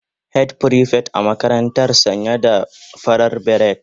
Head prefect a makarantara sanye da farar beret